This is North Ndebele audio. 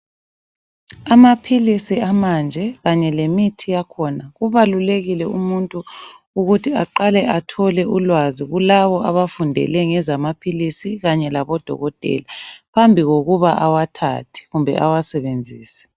Amaphilisi amanje kanye lemithi yakhona, kubalulekile umuntu ukuthi aqale athole ulwazi kulabo abafundele ngezamaphilizi kanye labodokotela. Phambi kokuba awathathe kumbe awasebenzise.